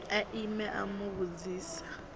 a ime a mu vhudzisa